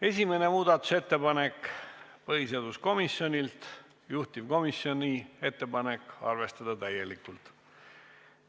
Esimene muudatusettepanek, põhiseaduskomisjonilt, juhtivkomisjoni ettepanek: arvestada täielikult.